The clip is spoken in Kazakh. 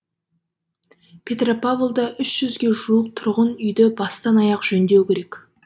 петропавлда үш жүзге жуық тұрғын үйді бастан аяқ жөндеу керек